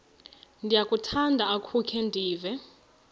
ndiyakuthanda ukukhe ndive